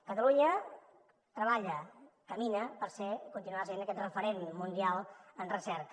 catalunya treballa camina per continuar sent aquest referent mundial en recerca